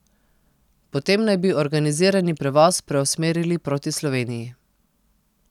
Potem naj bi organizirani prevoz preusmerili proti Sloveniji.